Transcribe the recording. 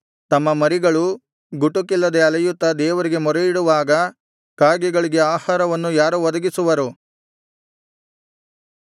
ತಮ್ಮ ಮರಿಗಳು ಗುಟುಕಿಲ್ಲದೆ ಅಲೆಯುತ್ತಾ ದೇವರಿಗೆ ಮೊರೆಯಿಡುವಾಗ ಕಾಗೆಗಳಿಗೆ ಆಹಾರವನ್ನು ಯಾರು ಒದಗಿಸುವರು